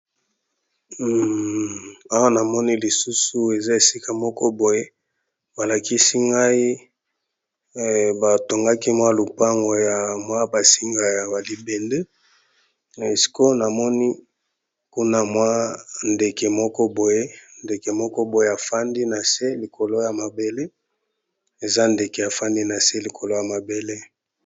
Awa namoni lisusu eza esika moko boye balakisi ngai batongaki mwa lupango ya mwa basinga ya alibende esiko namoni kuna mwa ndeke moko boye ndeke moko boye afandi na se likolo ya mabele eza ndeke afandi na se likolo ya mabele.